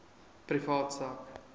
privaat sak